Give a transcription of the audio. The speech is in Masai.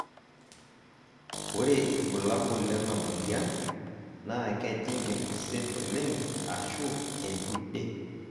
ore irbulabol lena moyian naa kejing enkuset oleng ashu entude.